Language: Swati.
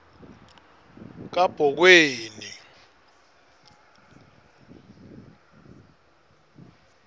kabhokweni